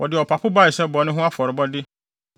Wɔde ɔpapo bae sɛ bɔne ho afɔrebɔde